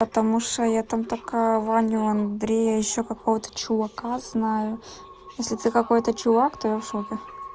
потому что я там только ваню андрея и ещё какого-то чувака знаю если ты какой-то чувак то я в шоке